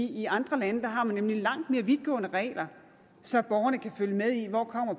i andre lande har man nemlig langt mere vidtgående regler så borgerne kan følge med i hvor